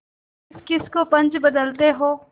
किसकिस को पंच बदते हो